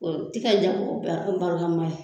O t'i kɛ ja ko bila baramama ye.